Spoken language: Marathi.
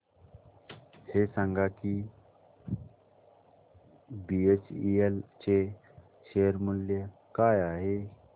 हे सांगा की बीएचईएल चे शेअर मूल्य काय आहे